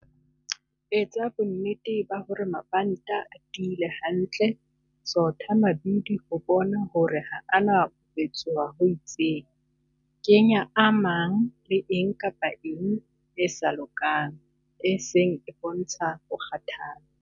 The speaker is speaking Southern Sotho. Etsa bonnete hore mabanta a tiile hantle. Sotha mabidi ho bona hore ha a na ho petsoha ho itseng. Kenya a mang le eng kapa eng e sa lokang, e seng e bontsha ho kgathala.